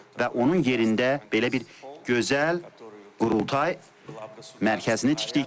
Və onun yerində belə bir gözəl Qurultay mərkəzini tikdik.